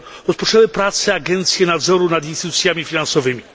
Rozpoczęły pracę agencje nadzoru nad instytucjami finansowymi.